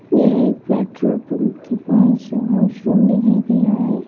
यह एक petrol pump के पास वॉशरूम दिखाई दे रहा है।